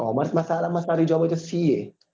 commerce માં બઉ સારા માં સારી job હોય તો ca